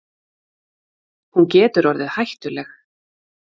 Hún getur orðið hættuleg.